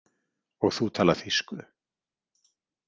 Og þú talar þýsku?